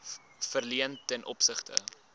verleen ten opsigte